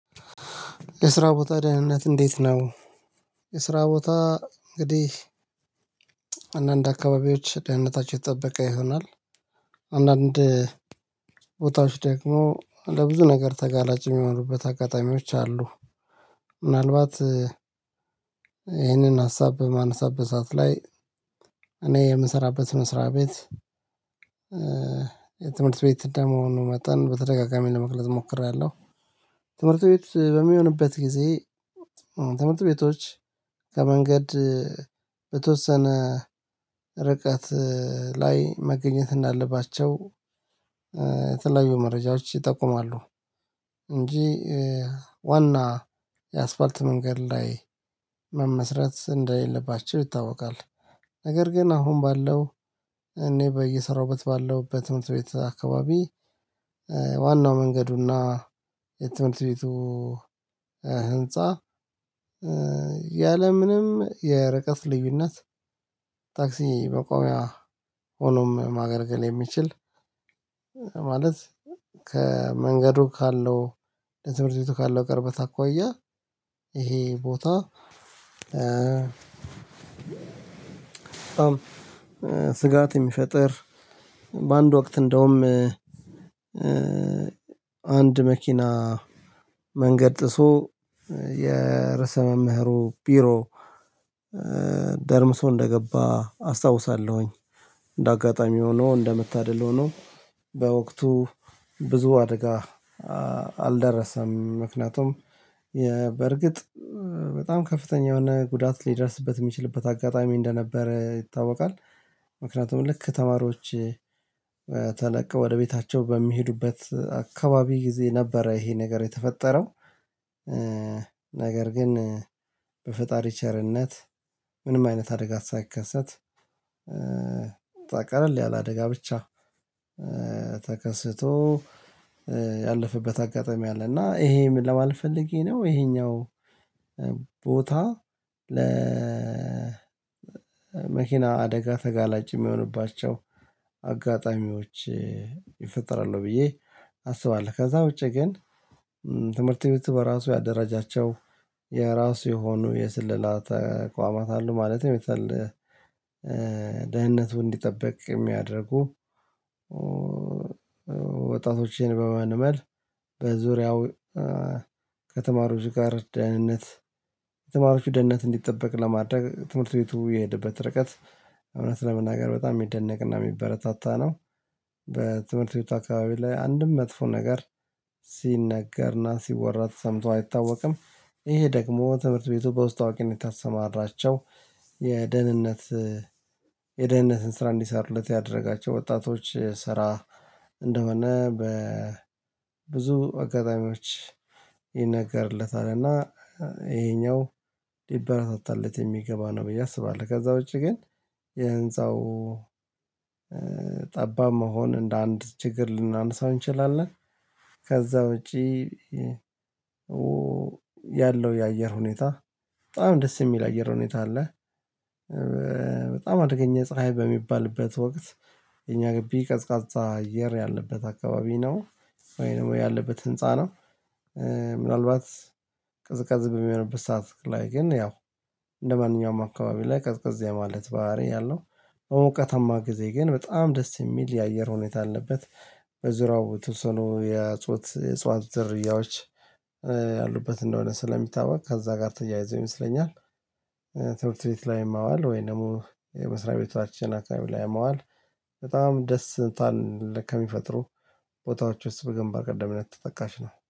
የስራ ቦታ ደህንነት እንዴት ነው? የስራ ቦታ እንግዲህ አንዳንድ አካባቢዎች ደህንነታቸው የተጠበቀ ይሆናል። አንዳንድ ቦታዎች ደግሞ ለብዙ ነገር ተጋላጭ የሚሆኑበት አጋጣሚዎች አሉ። ምናልባት ይህንን ሀሳብ በማነሳበት ሰዓት ላይ እኔ የምሰራበት መስሪያ ቤት የትምህርት ቤት አንደ መሆኑ መጠን በተደጋጋሚ ለመግለጽ ሞክሬያለው። ትምህርት ቤት በሚሆንበት ጊዜ ተምርት ቤቶች ከመንገድ በተወሰነ ርቀት ላይ መገኘት እንዳለባቸው የተለያዩ መረጃዎች ይጠቁማሉ እንጂ ዋና የአስፋልት መንገድ ላይ መመስረት እንደሌለባቸው ይታወቃል። ነገር ግን አሁን ባለው እኔ በየሰራውበት ባለው በትምህርት ቤት አከባቢ ዋናው መንገዱና የትምህርት ቤቱ ህንፃ ያለምንም የርቀት ልዩነት ታክሲ መቆሚያ ሆኖም ማገልገል የሚችል ማለት ከመንገዱ ካለው ለትምህርት ቤቱ ካለው ቅርበት አኳያ ይሄ ቦታ ስጋት የሚፈጥር በአንድ ወቅት እንደውም አንድ መኪና መንገድ ጥሶ የርሰ መምህሩ ቢሮ ደርምሶ እንደገባ አስታውሳለሁኝ እንደ አጋጣሚ ሆኖ እንደምታደል ሆኖ በወቅቱ ብዙ አደጋ አልደረሰም ምክንያቱም የ በርግጥ በጣም ከፍተኛ የሆነ ጉዳት ሊደርስበት የሚችልበት አጋጣሚ እንደነበረ ይታወቃል። ምክንያቱም ልክ ተማሪዎች ወደ ቤታቸው በሚሄዱበት አካባቢ ጊዜ ነበረ ይሄ ነገር የተፈጠረው። ግን በፈጣሪ ቸርነት ምንም አይነት አደጋ ሳይከሰት ታቀራል ያለአደጋ ብቻ ተከስቶ ያለፈበት አጋጣሚ አለ እና ይሄም ለማለት ፈልጌ ነው ይሄኛው ቦታ ለ መኪና አደጋ ተጋላጭ የሚሆንባቸው አጋጣሚዎች ይፈጥራሉ ብዬ አስባለው። ከዛ ውጪ ግን ትምህርት ቤት በራሱ ያደራጃቸው የራሱ የሆኑ የስልላ ተቋማት አሉ ማለትም የተለ ደህንነቱ እንዲጠብቅ የሚያደርጉ ወጣቶቼን በመንመል በዙሪያው ከተማሪዎች ጋር ደህንነት የተማሪዎች ደህንነት እንዲጠበቅ ለማድረግ ትምህርት ቤቱ የሄደበት ርቀት እውነት ለመናገር በጣም የሚደነቅና የሚበረታታ ነው። ቤት አካባቢ ላይ አንድም መጥፎ ነገር ሲነገርና ሲወራ ተሰምቶ አይታወቅም ይሄ ደግሞ ትምህርት ቤቱ በውስጥ አዋቂ ነው የታሰማራቸው የደህንነት የደህንነትን ስራ እንዲሰሩለት ያደረጋቸው ወጣቶች ስራ እንደሆነ በብዙ አጋጣሚዎች ይነገርለታልና ይሄኛው ሊበረታታለት የሚገባ ነው ብዬ አስባለው። ከዛ ውጪ ግን የህንፃው ጠባብ መሆን እንደ አንድ ችግር ልናነሳው እንችላለን። ከዛ ውጪ ያለው የአየር ሁኔታ በጣም ደስ የሚል አየር ሁኔታ አለ በጣም አደገኛ ፀሀይ በሚባልበት ወቅት የኛ ግቢ ቀዝቃዛ አየር ያለበት አካባቢ ነው ወይ ደግሞ ያለበት ህንፃ ነው። ምናልባት ቅዝቃዜ በምሆንበት ሰዓት ላይ ግን ያው እንደማንኛውም አካባቢ ላይ ቀዝቀጥ የማለት ባህሪ ያለው በሞቃታማ ጊዜ ግን በጣም ደስ የሚል የአየር ሁኔታ ያለበት በዙሪያው ተወሰኖ የያጹት እጽዋት ዝርያዎች ያሉበት እንደሆነ ስለሚታወቅ ከዛ ጋር ተያይዞ ይመስለኛል። ትምህርት ቤት ላይ ማዋል ወይም ደግሞ የመስሪያ ቤታችን አካባቢ ላይ መዋል በጣም ደስታን ከሚፈጥሩ ቦታዎች ውስጥ በግንባር ቀደምነት ተጠቃሽ ነው።